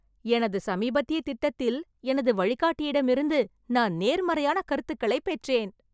எனது சமீபத்திய திட்டத்தில் எனது வழிகாட்டியிடமிருந்து நான் நேர்மறையான கருத்துக்களைப் பெற்றேன்!